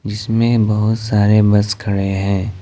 इसमें बहुत सारे बस खड़े हैं।